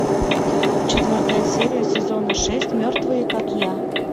четвертая серия сезона шесть мертвые как я